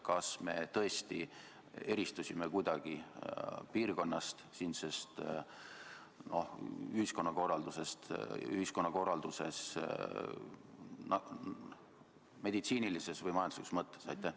Kas me tõesti kuidagi eristusime piirkonnast siinses ühiskonna korralduslikus, meditsiinilises või majanduslikus mõttes?